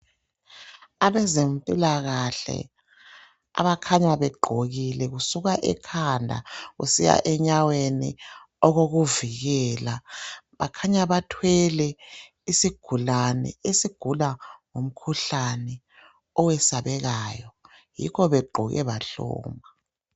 Abezempilakahle, abakhanya begqokile. Kusuka ekhanda kusiya enyaweni, okokuvikela. Bakhanya bathwele, isigulane, esigula ngomkhuhlane, owesabekayo. Yikho begqoke bahloma.